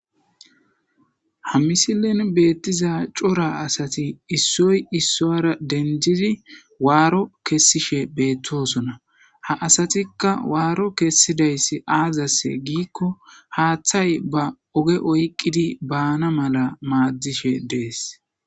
ha misilen beettiza cora asati issoy issoyara dendidi waaro kessishe beettosona ha asatikka waaro kessidays aazase giikko haaththay ba oge oyqqidi baana mala maaddishe dees